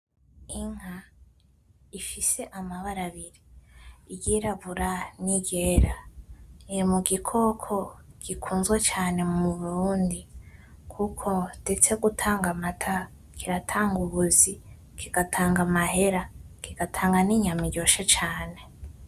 Inka ifise amabara abiri iyirabura niyera, irimugikoko gikunzwe cane muburundi kuko ndetse gutanga amata, kiratanga ubuzi, kigatanga amahera, kigatanga ninyama iryoshe cane.